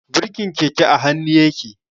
Birkin keke a hannu yake.